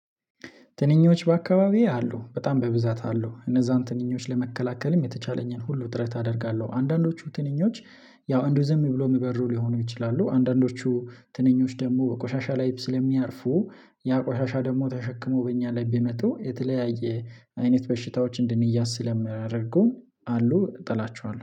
ትንኞች በአካባቢው አሉ በጣም በብዛት አሉ እነዛን ትንኞች ለመከላከልም የተቻለኝን ሁሉ ጥረት አደርጋለሁ። አንዳንዶቹ ትንኞች ያው እንደው ዝም ብሎ የሚበሩ ሊሆኑ ይችላሉ። አንዳንዶቹ ትንኞች ደግሞ በቆሻሻ ላይ ስለሚያርፉ ያ ቆሻሻ ደግሞ ተሸክሞ በእኛ ላይ ቢመጡ የተለያየ አይነት በሽታዎችን እንድንያዝ ስለምያደርጉ አሉ እጠላቸዋለሁ